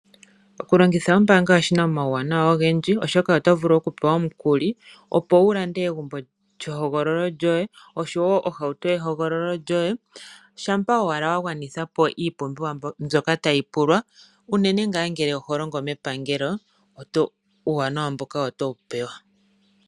Okulongitha ombaanga oshina omauwanawa ogendji, oshoka otot vulu okupewa omukuli opo wu lande egumbo lyehogololo lyoye osho woo ohauto yehogololo lyoye shampa owala wa gwanithapo iipumbiwa mbyoka ta yi pulwa unene ngaa ngele oholongo mepangelo. Uuwanawa mboka oto wu pewa.